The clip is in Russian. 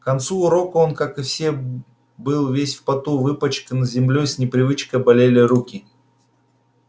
к концу урока он как и все был весь в поту выпачкан землёй с непривычка болели руки